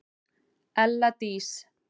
ELLA DÍS